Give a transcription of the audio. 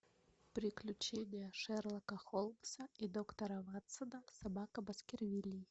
приключения шерлока холмса и доктора ватсона собака баскервилей